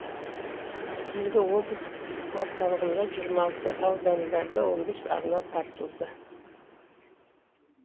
енді облыс орталығында жиырма алты аудандарда он бес арна тартылды